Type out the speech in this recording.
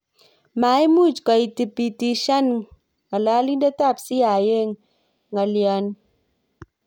Maimuuch koitibitisyan ng'alalindet ab CIA ng'alyoni